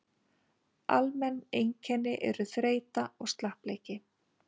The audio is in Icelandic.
almenn einkenni eru þreyta og slappleiki